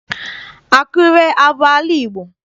Akure abụ ala Igbo?